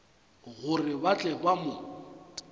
gore ba tle ba mo